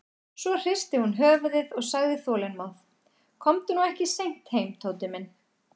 Svo hristi hún höfuðið og sagði þolinmóð: Komdu nú ekki seint heim, Tóti minn.